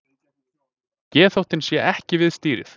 Geðþóttinn sé ekki við stýrið